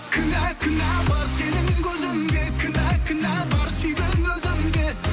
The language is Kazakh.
кінә кінә бар сенің көзіңде кінә кінә бар сүйген өзімде